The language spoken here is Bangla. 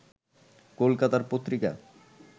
কলকাতার পত্রিকা